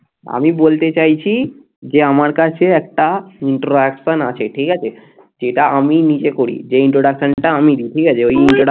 আমি বলতে চাইছি যে আমার কাছে একটা introduction আছে ঠিক আছে যেটা আমি নিজে করি যে introduction টা আমি দিই ঠিক আছে